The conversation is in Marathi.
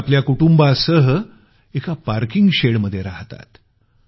ते आपल्या कुटुंबासह एका पार्किंग शेडमध्ये राहतात